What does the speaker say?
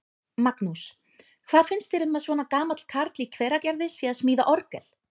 Magnús: Hvað finnst þér um að svona gamall karl í Hveragerði sé að smíða orgel?